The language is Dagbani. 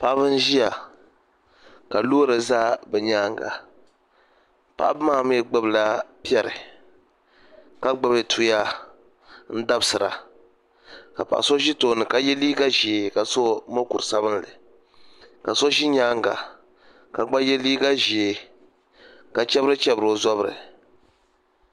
Paɣaba n ʒiya ka loori ʒɛ bi nyaanga paɣaba maa mii gbubila piɛri ka gbubi tuya n dabisira ka paɣa so ʒi tooni ka yɛ liiga ʒiɛ ka so mokuru sabinli ka so ʒi nyaanga ka gba yɛ liiga ʒiɛ ka chɛbiri chɛbiri o zabiri